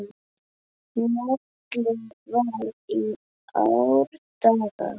Njálu var í árdaga.